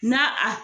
Na a